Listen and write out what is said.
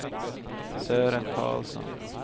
Sören Karlsson